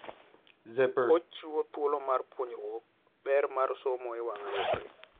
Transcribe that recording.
Ochiwo thuolo mar puonjruok ber mar somo e wang'a yore.